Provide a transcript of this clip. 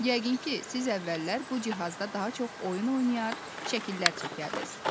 Yəqin ki, siz əvvəllər bu cihazda daha çox oyun oynayar, şəkillər çəkərdiniz.